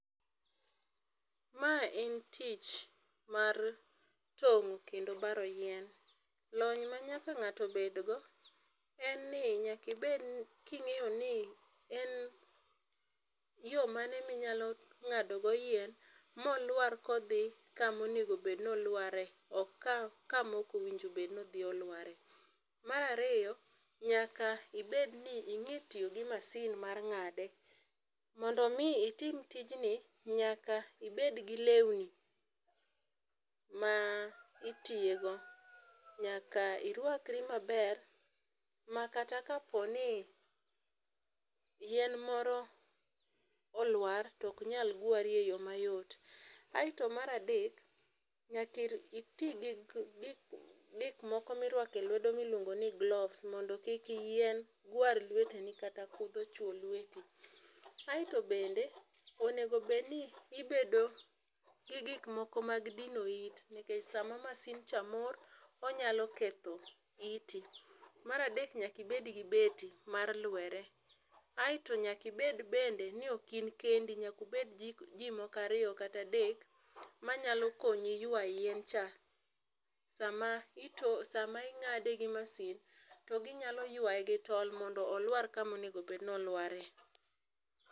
Ma en tich mar tong'o kendo baro yien. Lony ma nyaka ng'ato bedgo en ni nyakibed king'eyo ni en yo mane minyalo ng'adogo yien molwar kodhi kamonegobed nolware ok kamokowinjo bedno odhi olware. Mar ariyo, nyaka ibedni ing'e tiyo gi masin mar ng'ade. Mondo omi itim tijni, nyaka ibed gi lewni ma itiyego, nyaka irwakri maber ma kata kaponi yien moro olwar toknyal gwari e yo mayot. Aeto yo mar adek, nyakiti ti gikmoko mirwako e lwedo miluongo ni gloves mondo kik yien gwar lweteni kata kudho chwo lweti. Aeto bende onego bedni ibedo gi gikmoko mag dino it, nikech sama masin cha mor onyalo ketho iti. Mar adek nyakibedgi beti mar lwere aeto nyakibed bende ni ok in kendi nyakubed ji moko ariyo kata adek manyalo konyi ywa yien cha sama ing'ade gi masin tio ginyalo yuaye gi tol mondo oluar kamonegobed nolware.